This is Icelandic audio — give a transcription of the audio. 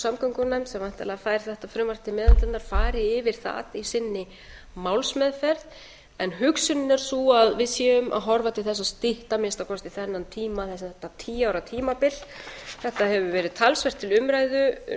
samgöngunefnd sem væntanlega fær þetta frumvarp til meðhöndlunar fari yfir það í sinni málsmeðferð en hugsunin er sú að við séum að horfa til þess að stytta að minnsta kosti þennan tíma þetta tíu ára tímabil þetta hefur verið talsvert til umræðu